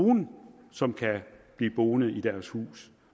nogle som kan blive boende i deres hus